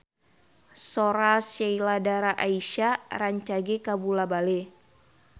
Sora Sheila Dara Aisha rancage kabula-bale